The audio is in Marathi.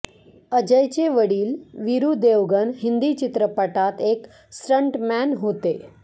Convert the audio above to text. अजयचे वडील वीरू देवगन हिंदी चित्रपटात एक स्टंटमॅन होते